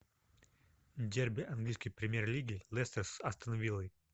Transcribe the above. дерби английской премьер лиги лестер с астон виллой